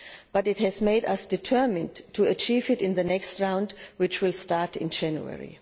but it has made us determined to achieve it in the next round which will start in January.